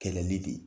Kɛlɛli de